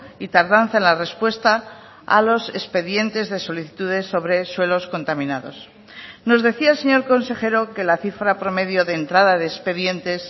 y tardanza en la respuesta a los expedientes de solicitudes sobre suelos contaminados nos decía el señor consejero que la cifra promedio de entrada de expedientes